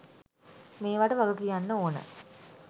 මේවට වගකියන්න ඕන.